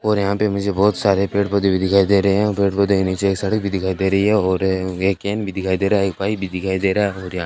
और यहां पे मुझे बहुत सारे पेड़-पौधे भी दिखाई दे रहे हैं पेड़-पौधे के नीचे एक सड़क भी दिखाई दे रही है और एक केन दिखाई दे रहा है एक पाइप भी दिखाई दे रहा है और यहां --